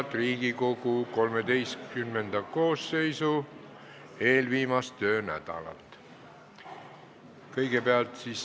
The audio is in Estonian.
Head Riigikogu XIII koosseisu eelviimast töönädalat!